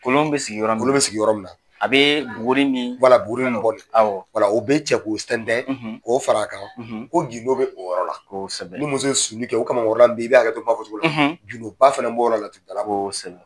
Kolon bɛ sigiyɔrɔ min na, kolon bɛ sigiyɔrɔ min na, a bɛ bugurin min, bugurin min bɔ ni ye, o bɛ cɛ k'o sɛndɛ k'o fara a kan ko gindon be o yɔrɔ la, kosɛbɛ, ni muso ye susuli kɛ o kamakɔrɔla i bɛ kuma fɔcogo la gindonba fana b’o yɔrɔ la kosɛbɛ.